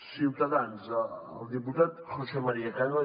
ciutadans el diputat josé maría cano